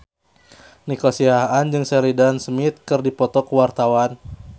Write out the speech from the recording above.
Nico Siahaan jeung Sheridan Smith keur dipoto ku wartawan